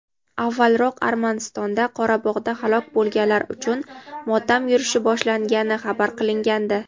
avvalroq Armanistonda Qorabog‘da halok bo‘lganlar uchun motam yurishi boshlangani xabar qilingandi.